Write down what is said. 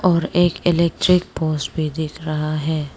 और एक electric poles भी दिख रहा है।